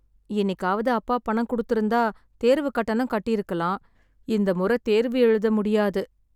இன்னிக்காவது அப்பா பணம் கொடுத்துருந்தா தேர்வு கட்டணம் கட்டிருக்கலாம், இந்த முறை தேர்வு எழுத முடியாது.